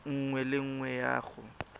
nngwe le nngwe ya go